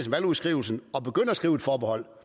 valgudskrivelsen begynder at skrive et forbehold